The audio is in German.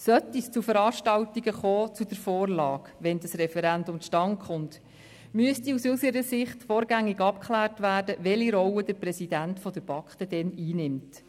Sollte es zu Veranstaltungen zur Vorlage kommen, wenn das Referendum zustande kommt, müsste aus unserer Sicht vorgängig abgeklärt werden, welche Rolle der Präsident der BaK dann einnimmt.